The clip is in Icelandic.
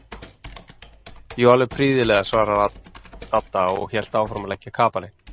Jú, alveg prýðilega svaraði Dadda og hélt áfram að leggja kapalinn.